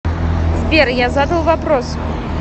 сбер я задал вопрос